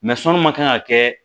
Mɛ sɔnni ma kan ka kɛ